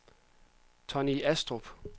Tonni Astrup